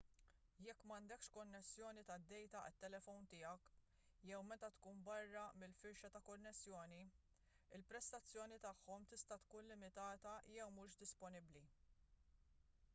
jekk m'għandekx konnessjoni tad-dejta għat-telefon tiegħek jew meta tkun barra mill-firxa ta' konnessjoni il-prestazzjoni tagħhom tista' tkun limitata jew mhux disponibbli